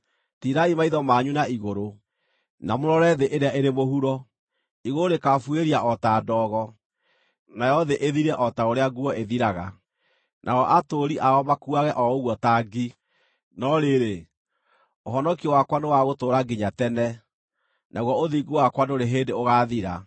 Tiirai maitho manyu na igũrũ, na mũrore thĩ ĩrĩa ĩrĩ mũhuro; igũrũ rĩkaabuĩria o ta ndogo, nayo thĩ ĩthire o ta ũrĩa nguo ĩthiraga, nao atũũri ao makuage o ũguo ta ngi. No rĩrĩ, ũhonokio wakwa nĩwagũtũũra nginya tene, naguo ũthingu wakwa ndũrĩ hĩndĩ ũgaathira.